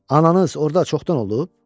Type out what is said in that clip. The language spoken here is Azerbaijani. Ananız orda çoxdan olub?